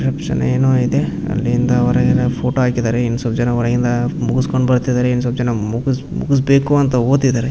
Reception ಏನೋ ಇದೆ ಅಲ್ಲಿಂದ ಹೊರಗೆ ಫೋಟೋ ಹಾಕಿದ್ದಾರೆ ಇನ್ನ್ ಸ್ವಲ್ಪ ಜನ ಹೊರಗಿಂದ ಮುಗಸ್ಕೊಂಡು ಬರ್ತಾ ಇದ್ದಾರೆ ಇನ್ನ್ ಸ್ವಲ್ಪ ಜನ ಮುಗ್ಸ್ ಮುಗ್ಸಬೇಕು ಅಂತ ಹೊತಿದ್ದಾರೆ .